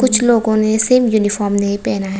कुछ लोगों ने सेम यूनिफॉर्म नहीं पहना है।